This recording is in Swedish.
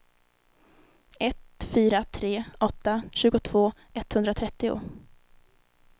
ett fyra tre åtta tjugotvå etthundratrettio